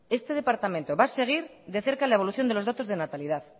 este departamento va a seguir de cerca la evolución de los datos de natalidad